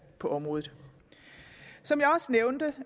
på området som